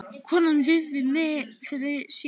Konan virðir mig fyrir sér.